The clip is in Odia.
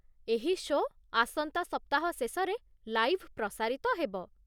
ଏହି ଶୋ' ଆସନ୍ତା ସପ୍ତାହ ଶେଷରେ ଲାଇଭ୍ ପ୍ରସାରିତ ହେବ।